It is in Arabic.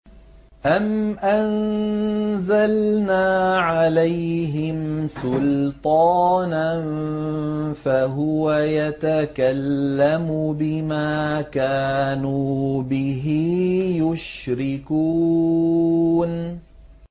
أَمْ أَنزَلْنَا عَلَيْهِمْ سُلْطَانًا فَهُوَ يَتَكَلَّمُ بِمَا كَانُوا بِهِ يُشْرِكُونَ